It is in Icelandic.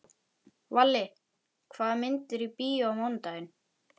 Valli, hvaða myndir eru í bíó á mánudaginn?